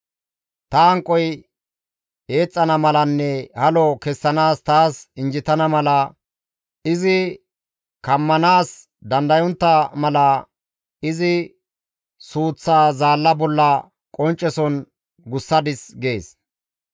Ta hanqoy eexxana malanne halo kessanaas taas injjetana mala, izi kammanaas dandayontta mala, izi suuththaa zaalla bolla qoncceson gussadis› gees.